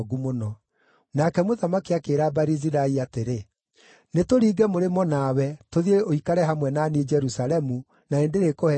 Nake mũthamaki akĩĩra Barizilai atĩrĩ, “Nĩtũringe mũrĩmo nawe, tũthiĩ ũikare hamwe na niĩ Jerusalemu, na nĩndĩrĩkũheaga irio.”